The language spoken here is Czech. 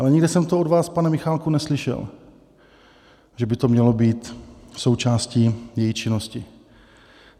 Ale nikde jsem to od vás, pane Michálku, neslyšel, že by to mělo být součástí její činnosti.